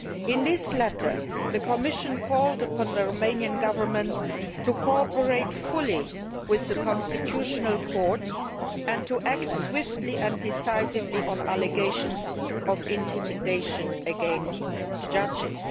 In this letter the Commission called upon the Romanian Government to cooperate fully with the constitutional court and to act swiftly and decisively on allegations of intimidation against judges.